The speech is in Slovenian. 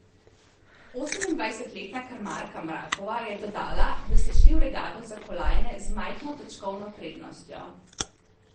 Osemindvajsetletna krmarka Mrakova je dodala, da sta šli v regato za kolajne z majhno točkovno prednostjo.